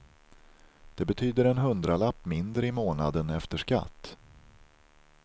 Det betyder en hundralapp mindre i månaden efter skatt.